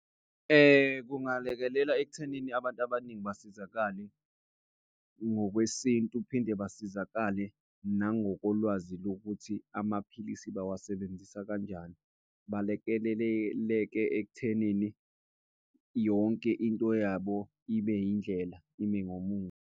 Kungalekelela ekuthenini abantu abaningi basizakale ngokwesintu, phinde basizakale nangokolwazi lokuthi amaphilisi bawasebenzisa kanjani. Balekeleleke ekuthenini yonke into yabo ibe yindlela, ime ngomumo.